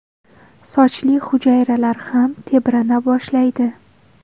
Sochli hujayralar ham tebrana boshlaydi.